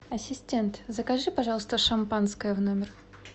ассистент закажи пожалуйста шампанское в номер